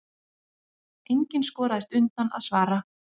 Enginn skoraðist undan að svara.